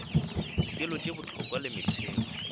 dikelo tše bohlokwa le metheo